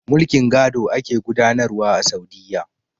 Mulkin gado ake gudanar wa a Saudiyya.